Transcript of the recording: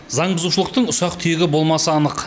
заң бұзушылықтың ұсақ түйегі болмасы анық